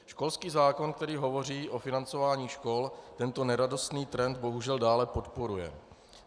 Školský zákon, který hovoří o financování škol, tento neradostný trend bohužel dále podporuje.